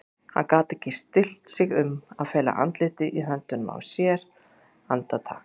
Hann gat ekki stillt sig um að fela andlitið í höndum sér andartak.